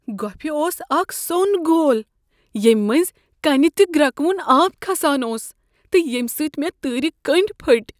گوپھہِ اوس اكھ سون گوٚل ییمہِ مٔنٛزۍ كٕنہ تہٕ گرٛكون آب كھسان اوس تہٕ ییمہِ سۭتۍ مےٚ تٲرِ کنڈی پھٹۍ۔